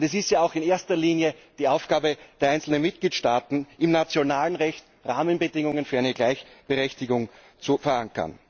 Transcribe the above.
Und es ist ja auch in erster Linie die Aufgabe der einzelnen Mitgliedstaaten, im nationalen Recht Rahmenbedingungen für eine Gleichberechtigung zu verankern.